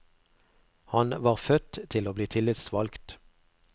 Han var født til å bli tillitsvalgt.